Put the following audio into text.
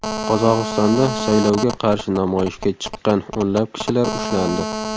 Qozog‘istonda saylovga qarshi namoyishga chiqqan o‘nlab kishilar ushlandi .